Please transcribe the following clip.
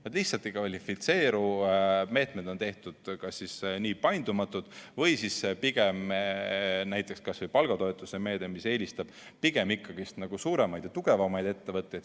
Nad lihtsalt ei kvalifitseeru, meetmed on tehtud kas nii paindumatud või siis kas või näiteks palgatoetuse meede, mis eelistab pigem ikkagi suuremaid ja tugevamaid ettevõtteid.